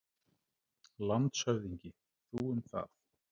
LANDSHÖFÐINGI: Þú um það!